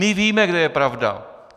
My víme, kde je pravda.